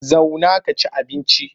Zauna ka ci abinci!